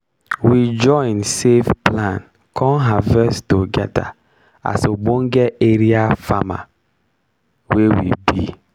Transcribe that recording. we join save plan con harvest togedir as obonge area farmer wey we be.